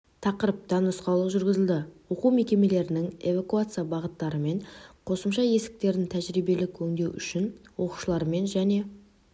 тақырыпта нұсқаулық жүргізілді оқу мекемелерінің эвакуация бағыттары мен қосымша есіктерін тәжірибелік өңдеу үшін оқушылармен және